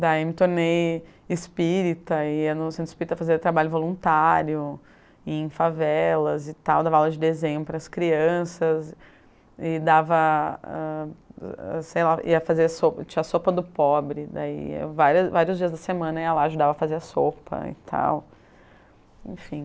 Daí me tornei espírita, ia no centro espírita fazer trabalho voluntário, ia em favelas e tal, dava aula de desenho para as crianças e dava, ah, sei lá, ia fazer sopa, tinha a sopa do pobre, daí vários vários dias da semana ia lá, ajudava a fazer a sopa e tal, enfim.